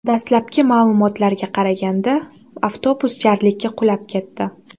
Dastlabki ma’lumotlarga qaraganda, avtobus jarlikka qulab ketdi.